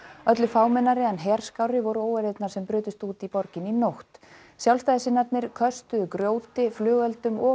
öllu fámennari en herskárri voru óeirðirnar sem brutust út í borginni í nótt köstuðu grjóti flugeldum og